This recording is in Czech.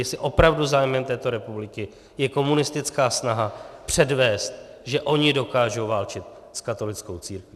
Jestli opravdu zájmem této republiky je komunistická snaha předvést, že oni dokážou válčit s katolickou církví.